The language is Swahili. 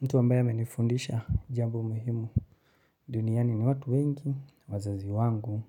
Mtu ambaye amenifundisha jambo muhimu duniani ni watu wengi, wazazi wangu,